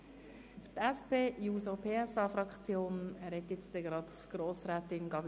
Für die SP-JUSO-PSA-Fraktion spricht Grossrätin Gabi.